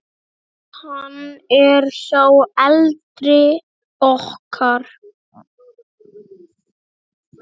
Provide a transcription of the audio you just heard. Hann er sá eldri okkar.